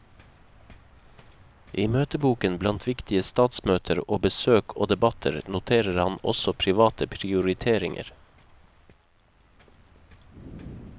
I møteboken blant viktige statsmøter og besøk og debatter, noterer han også private prioriteringer.